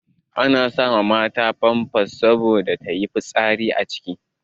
Ana sa mata famfas saboda ta yi fitsari a ciki.